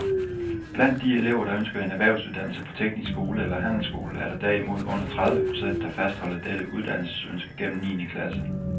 Blandt de elever, der ønsker en erhvervsuddannelse på teknisk skole eller handelsskole, er der derimod under tredive procent, der fastholder dette uddannelsesønske gennem niende klasse.